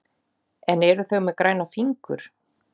En eru þau með græna fingur?